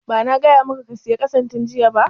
Ba na gaya maka ka saya ƙasan tun jiya ba?\